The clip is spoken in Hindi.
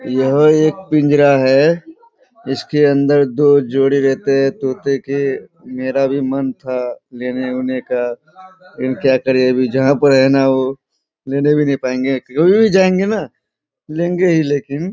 यह एक पिंजरा है जिसके अंदर दो जोड़ी रहते हैं तोते के मेरा भी मन था लेने-उने का पर क्या करें अभी जहाँ पर हैं न वो लेने ही पायेंगे कभी भी जायेंगे न लेगें ही लेकिन --